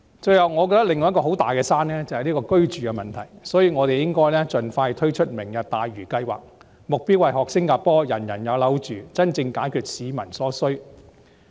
最後，我認為另一座巨大的"山"是居住問題，所以我們應該盡快推出"明日大嶼"計劃，目標是學習新加坡"人人有樓住"，真正解決市民所需。